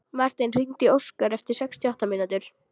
Marten, hringdu í Óskar eftir sextíu og átta mínútur.